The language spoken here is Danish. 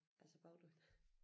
Altså bagte på hende